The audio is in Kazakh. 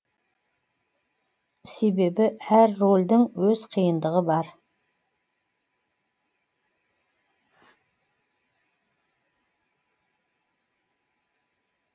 себебі әр рөлдің өз қиындығы бар